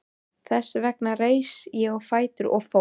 Þess vegna reis ég á fætur og fór.